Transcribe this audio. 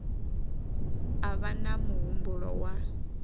a vha na muhumbulo wa